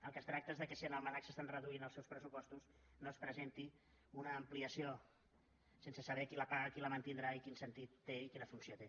del que es tracta és que si en el mnac s’estan reduint els seus pressupostos no se’n presenti una ampliació sense saber qui la paga qui la mantindrà i quin sentit té i quina funció té